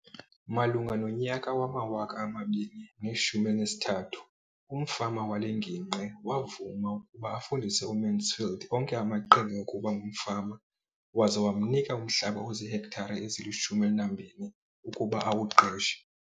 Malunga nonyaka wama-2013, umfama wale ngingqi wavuma ukuba afundise uMansfield onke amaqhinga okuba ngumfama waza wamnika umhlaba ozihektare ezili-12 ukuba awuqeshe.